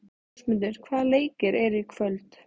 Ásmundur, hvaða leikir eru í kvöld?